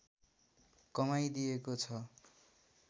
कमाइदिएको छ